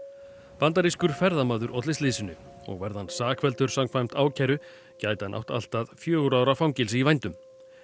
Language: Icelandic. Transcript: bandarískur ferðamaður olli slysinu og verði hann sakfelldur samkvæmt ákæru gæti hann átt allt að fjögurra ára fangelsi í vændum